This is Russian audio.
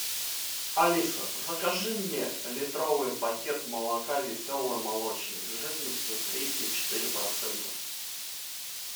алиса закажи мне литровый пакет молока веселый молочник жирностью три и четыре процента